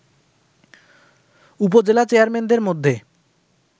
উপজেলা চেয়ারম্যানদের মধ্যে